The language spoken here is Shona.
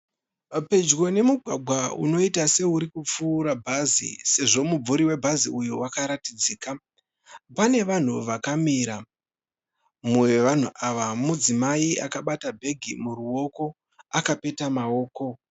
Pedyo nemugwagwa unoita seuri kupfuura bahzi sezvo mumvuri webhazi uyu wakaratidzika. Pane vanhu vakamira. Mumwe wevanhu ava mudzimai akabata bhegi muruoko akapeta maoko.